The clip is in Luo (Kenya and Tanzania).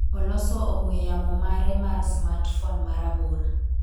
oloso ong'we yamo mare mar Smartphone marabora